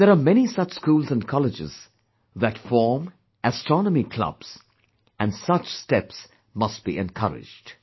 And there are many such schools and colleges that form astronomy clubs, and such steps must be encouraged